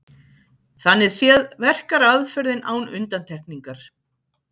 Þannig séð verkar aðferðin án undantekningar.